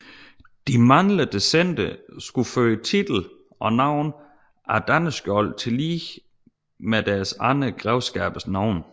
De mandlige descendenter skulle føre titel og navn af Danneskiold tillige med deres andre grevskabers navne